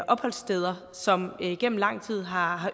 opholdssteder som igennem lang tid har